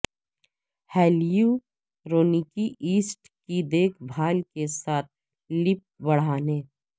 ہیلیورونیکی acid کی دیکھ بھال کے ساتھ لپ بڑھانے